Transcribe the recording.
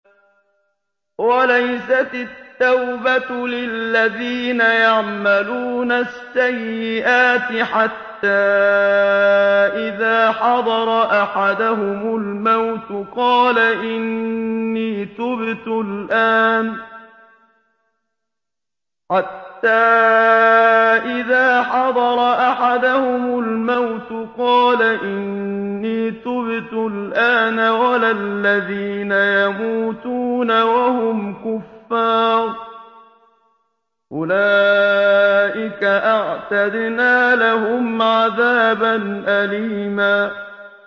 وَلَيْسَتِ التَّوْبَةُ لِلَّذِينَ يَعْمَلُونَ السَّيِّئَاتِ حَتَّىٰ إِذَا حَضَرَ أَحَدَهُمُ الْمَوْتُ قَالَ إِنِّي تُبْتُ الْآنَ وَلَا الَّذِينَ يَمُوتُونَ وَهُمْ كُفَّارٌ ۚ أُولَٰئِكَ أَعْتَدْنَا لَهُمْ عَذَابًا أَلِيمًا